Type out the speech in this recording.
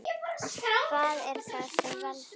Hvað er það sem veldur?